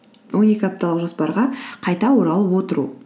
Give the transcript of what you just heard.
он екі апталық жоспарға қайта оралып отыру